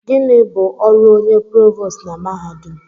Gịnị bụ ọrụ onye provost na mahadum?